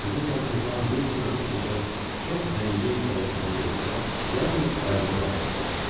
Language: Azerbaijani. Bizim yanımızdan yell kimi ötüb keçən çox zəngin kalyaskanı görəndə yalnız əlini qaldırıb soruşdu.